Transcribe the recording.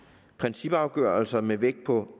principafgørelser med vægt på